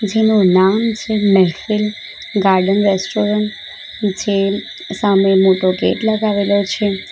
જેનું નામ છે મહેફિલ ગાર્ડન રેસ્ટોરન્ટ જે સામે મોટો ગેટ લગાવેલો છે.